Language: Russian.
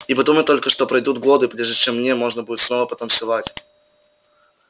и подумать только что пройдут годы прежде чем мне можно будет снова потанцевать